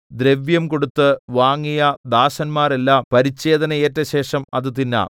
എന്നാൽ ദ്രവ്യംകൊടുത്ത് വാങ്ങിയ ദാസന്മാരെല്ലാം പരിച്ഛേദന ഏറ്റ ശേഷം അത് തിന്നാം